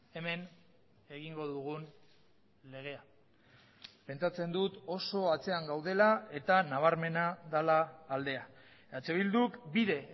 hemen egingo dugun legea pentsatzen dut oso atzean gaudela eta nabarmena dela aldea eh bilduk bide